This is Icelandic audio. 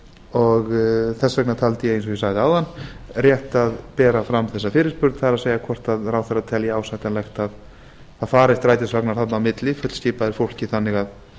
og þess vegna taldi ég eins og ég sagði áðan rétt að bera fram þessa fyrirspurn það er hvort ráðherra telji ásættanlegt að það fari strætisvagnar þarna á milli fullskipaðir fólki þannig að